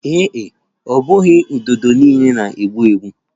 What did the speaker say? Ee e, ọ bụghị ududo niile na-egbu egbu